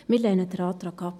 Wir lehnen den Antrag ab.